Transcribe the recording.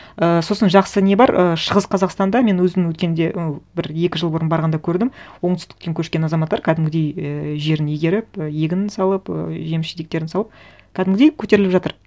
і сосын жақсы не бар і шығыс қазақстанда мен өзім өткенде ы бір екі жыл бұрын барғанда көрдім оңтүстіткен көшкен азаматтар кәдімгідей ііі жерін игеріп егін салып ы жеміс жидектерін салып кәдімгідей көтеріліп жатыр